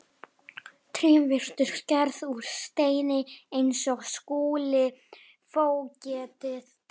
Trén virtust gerð úr steini eins og Skúli fógeti.